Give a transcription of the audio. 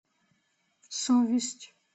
совесть